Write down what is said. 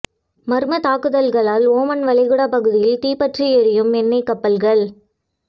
மர்ம தாக்குதல்களால் ஓமன் வளைகுடா பகுதியில் தீப்பற்றி எரியும் எண்ணெய் கப்பல்கள்